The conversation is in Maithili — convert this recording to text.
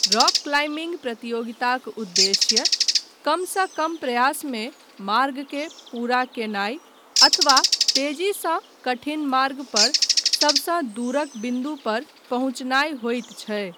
रॉक क्लाइम्बिंग प्रतियोगिताक उद्देश्य कमसँ कम प्रयासमे मार्गके पूरा कयनाय अथवा तेजीसँ कठिन मार्गपर सबसँ दूरक बिन्दुपर पहुँचनाय होइत छै।